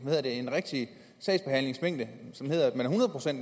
rigtig sagsbehandlingsmængde